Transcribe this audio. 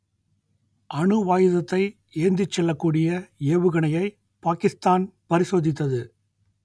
அணுவாயுதத்தை ஏந்திச் செல்லக்கூடிய ஏவுகணையை பாகிஸ்தான் பரிசோதித்தது